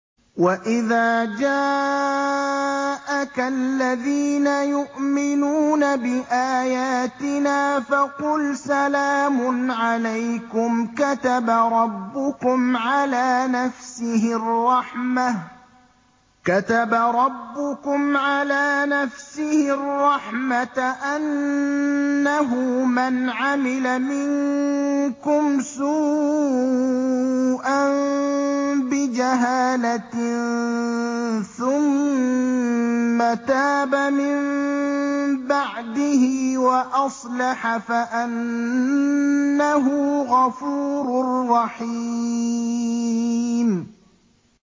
وَإِذَا جَاءَكَ الَّذِينَ يُؤْمِنُونَ بِآيَاتِنَا فَقُلْ سَلَامٌ عَلَيْكُمْ ۖ كَتَبَ رَبُّكُمْ عَلَىٰ نَفْسِهِ الرَّحْمَةَ ۖ أَنَّهُ مَنْ عَمِلَ مِنكُمْ سُوءًا بِجَهَالَةٍ ثُمَّ تَابَ مِن بَعْدِهِ وَأَصْلَحَ فَأَنَّهُ غَفُورٌ رَّحِيمٌ